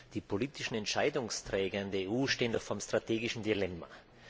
Die politischen Entscheidungsträger in der EU stehen vor einem strategischen Dilemma.